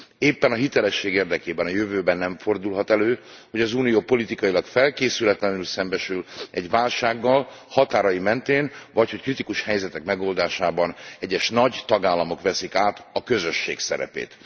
Éppen a hitelesség érdekében a jövőben nem fordulhat elő, hogy az Unió politikailag felkészületlenül szembesül egy válsággal határai mentén, vagy hogy kritikus helyzetek megoldásában egyes nagy tagállamok veszik át a Közösség szerepét.